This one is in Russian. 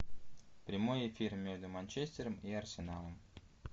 прямой эфир между манчестером и арсеналом